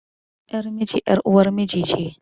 Yar miji ƴar uwar miji ce